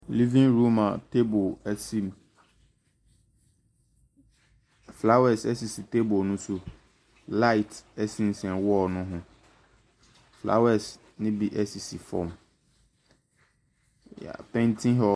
Living room a table si mu. Flowers sisi table no so. Light sensɛn wall no ho. Flowers no bi sisi fam. Yɛpainti hɔ.